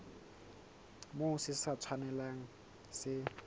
moo se sa tshwanelang se